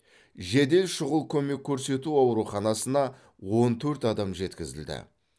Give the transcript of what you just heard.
жедел шұғыл көмек көрсету ауруханасына он төрт адам жеткізілді